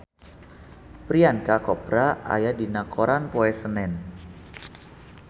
Priyanka Chopra aya dina koran poe Senen